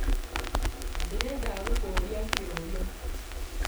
Ndĩrenda gũkũria kĩũria.